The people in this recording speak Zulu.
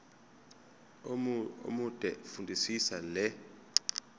omude fundisisa le